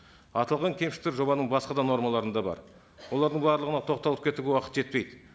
аталған кемшіліктер жобаның басқа да нормаларында бар олардың барлығына тоқталып кетуге уақыт жетпейді